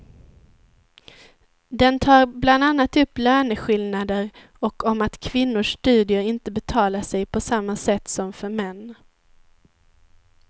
Den tar bland annat upp löneskillnader och om att kvinnors studier inte betalar sig på samma sätt som för män.